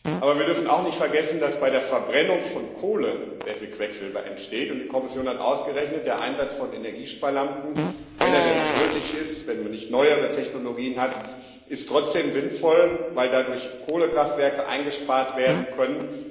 Aber wir dürfen auch nicht vergessen, dass bei der Verbrennung von Kohle sehr viel Quecksilber entsteht, und die Kommission hat ausgerechnet Der Einsatz von Energiesparlampen wenn er denn noch nötig ist, wenn man nicht neuere Technologien hat ist trotzdem sinnvoll, weil dadurch Kohlekraftwerke eingespart werden können.